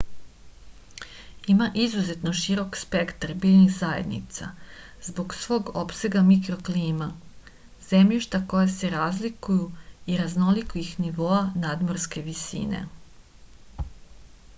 ima izuzetno širok spektar biljnih zajednica zbog svog opsega mikroklima zemljišta koja se razlikuju i raznolikih nivoa nadmorske visine